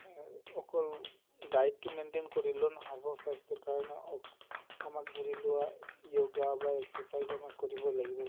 অ অকল diet টো maintain কৰিলে নহʼব স্বাস্থ্য়ৰ কাৰণে আমাক ধৰি লোৱা yoga বা exercise আমি কৰিবই লাগিব